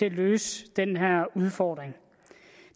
at løse den her udfordring